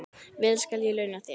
Vel skal ég launa þér.